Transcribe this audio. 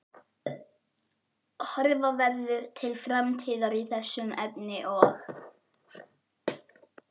Horfa verði til framtíðar í þessum efnum og?